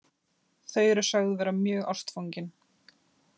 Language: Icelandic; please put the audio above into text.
Þau eru sögð vera mjög ástfangin